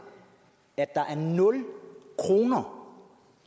at der er nul kroner